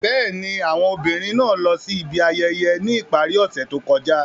Bẹ́ẹ̀ni, awọn obinrin naa lọ si ibi ayẹyẹ ni ipari ose to kọja.